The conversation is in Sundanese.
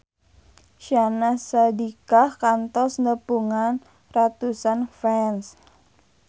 Syahnaz Sadiqah kantos nepungan ratusan fans